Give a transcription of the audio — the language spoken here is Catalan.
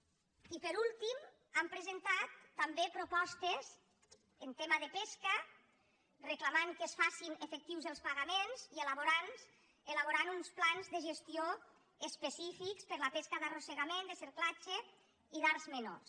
i per últim hem presentat també propostes en temes de pesca i reclamem que es facin efectius els paga·ments i elaborar uns plans de gestió específics per a la pesca d’arrossegament de cerclatge i d’arts menors